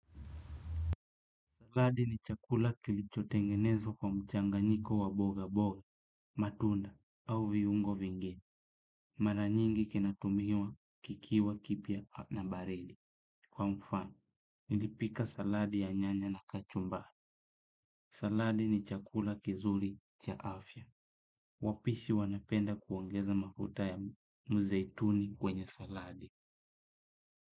Saladi ni chakula kilichotengenezwa kwa mchanganyiko wa mboga mboga, matunda, au viungo vingini. Mara nyingi kinatumiwa kikiwakipya na bareli. Kwa mfano, nilipika saladi ya nyanya na kachumbari. Saladi ni chakula kizuri cha afya. Wapishi wanapenda kuongeza mafuta ya mzeituni kwenye saladi.